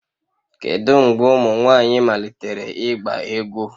Kedu mgbe ụmụ nwanyị malitere ịgba egwu